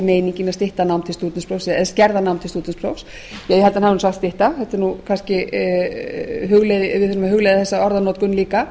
meiningin að skerða nám til stúdentsprófs ég held að hann hafi sagt stytta við verðum að hugleiða þessa orðanotkun líka